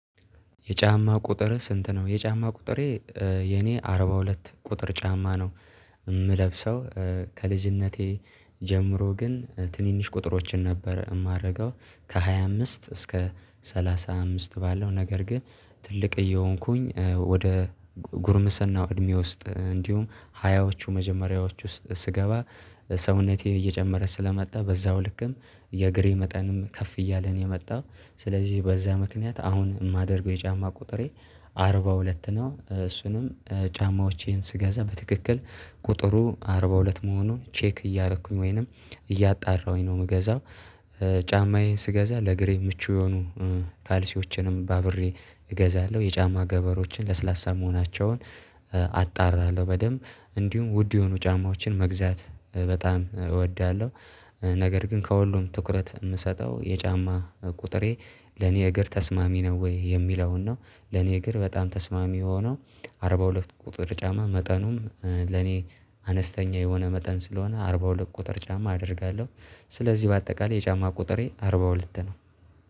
የጫማ ቁጥርህ ስንት ነው? የጫማ ቁጥሬ የኔ አርባ ሁለት ቁጥር ጫማ ነው። የምለብሰው ከልጅነቴ ጀምሮ ግን ትንንሽ ቁጥሮችን ነበር የማደርገው ከሃያ አምስት እስከ ሰላሳ አምስት ባለው። ነገር ግን ትልቅ እየሆንኩኝ ወደ ጉርምሰናው እድሜ ውስጥ እንዲሁም ሀያዎቹ መጀመሪያዎች ውስጥ ስገባ ሰውነቴ እየጨመረ ስለመጣ በዛው ልክም የእግሬ መጠንም ከፍ እያለን የመጣው። ስለዚህ በዛ ምክንያት አሁን የማደርገው የጫማ ቁጥሬ አርባ ሁለት ነው። እሱንም ጫማዎቼን ስገዛ በትክክል ቁጥሩ አርባ ሁለት መሆኑን ቼክ እያደረኩኝ ወይንም እያጣራሁኝ ነው የምገዛው። ጫማዬን ስገዛ ለእግሬ ምቹ የሆኑ ካልሲዎችንም ባብሬ እገዛለሁ የጫማ ገበሮችን ለስላሳ መሆናቸውን አጣራለሁ በደንብ እንዲሁም ውድ የሆኑ ጫማዎችን መግዛት በጣም እወዳለሁ። ነገር ግን ከሁሉም ትኩረት የምሰጠው የጫማ ቁጥሬ ለኔ እግር ተስማሚ ነው ወይ የሚለውን ነው። ለኔ እግር በጣም ተስማሚ የሆነው አርባ ሁለት ቁጥር ጫማ መጠኑም ለኔ አነስተኛ የሆነ መጠን ስለሆነ አርባ ሁለት ቁጥር ጫማ አደርጋለሁ። ስለዚህ በአጠቃላይ የጫማ ቁጥሬ አርባ ሁለት ነው